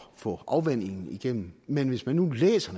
få afvandingen igennem men hvis man nu læser